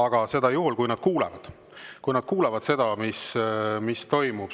aga seda juhul, kui nad kuulevad seda, mis toimub.